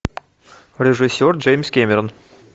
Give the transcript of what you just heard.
режиссер джеймс кэмерон